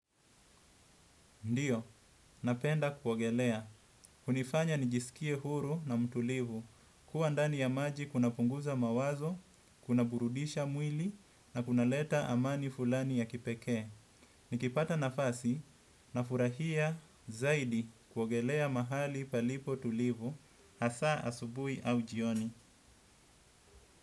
Ndiyo, napenda kuogelea. Hunifanya nijisikie huru na mtulivu kua ndani ya maji kuna punguza mawazo, kuna burudisha mwili na kuna leta amani fulani ya kipekee. Ni kipata nafasi na furahia zaidi kuogelea mahali palipo tulivu hasa asubuhi au jioni.